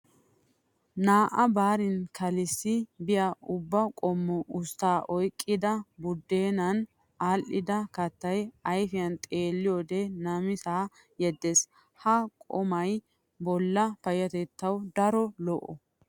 Naa"a baarin kalissi be'iya ubba qommo usttaa oyqqida buddeenan aadhdha kattay ayfiyan xeelliyoode namisaa yeddees. Ha qumay bollaa payyatettaw daro lo"o.